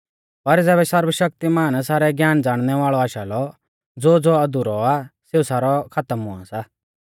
पर ज़ैबै सर्वशक्तिमान सारै ज्ञान ज़ाणनै वाल़ौ आशा लौ ज़ो ज़ो अधुरौ आ सेऊ सारौ खातम हुआ सा